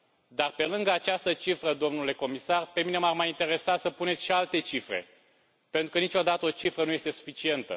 Dar, pe lângă această cifră, domnule comisar, pe mine m ar mai interesa să puneți și alte cifre, pentru că niciodată o cifră nu este suficientă.